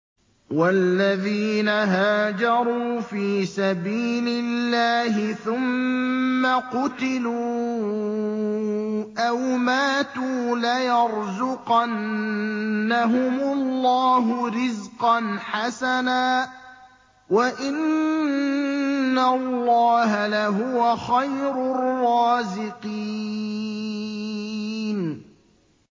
وَالَّذِينَ هَاجَرُوا فِي سَبِيلِ اللَّهِ ثُمَّ قُتِلُوا أَوْ مَاتُوا لَيَرْزُقَنَّهُمُ اللَّهُ رِزْقًا حَسَنًا ۚ وَإِنَّ اللَّهَ لَهُوَ خَيْرُ الرَّازِقِينَ